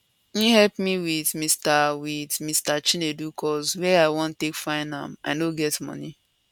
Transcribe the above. im help me wit mr wit mr chinedu cos where i wan take find am i no get money